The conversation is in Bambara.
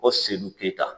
O seli ke ta